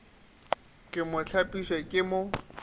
ke mo hlapiša ke mo